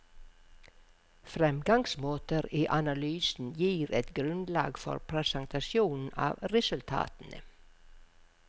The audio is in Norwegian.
Fremgangsmåter i analysen gir et grunnlag for presentasjonen av resultatene.